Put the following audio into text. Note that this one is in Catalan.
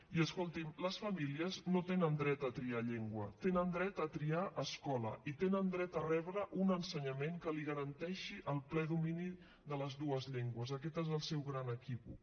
i escolti’m les famílies no tenen dret a triar llengua tenen dret a triar escola i tenen dret a rebre un ensenyament que els garanteixi el ple domini de les dues llengües aquest és el seu gran equívoc